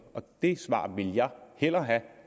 det svar vil jeg hellere have